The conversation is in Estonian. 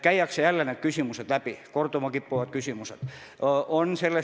Käiakse jälle need korduma kippuvad küsimused läbi.